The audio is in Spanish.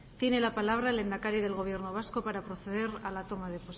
tiene la palabra el lehendakari del gobierno vasco para proceder a la toma de